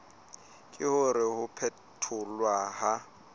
ke hore ho phetholwa ha